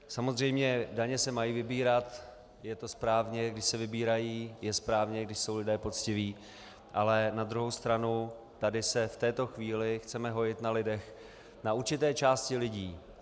Samozřejmě, daně se mají vybírat, je to správně, když se vybírají, je správně, když jsou lidé poctiví, ale na druhou stranu tady se v této chvíli chceme hojit na lidech, na určité části lidí.